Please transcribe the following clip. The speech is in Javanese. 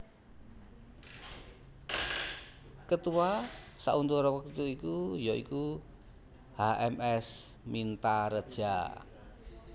Ketua sauntara wektu iku ya iku H M S Mintaredja